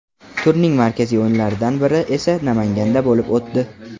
Turning markaziy o‘yinlaridan biri esa Namanganda bo‘lib o‘tdi.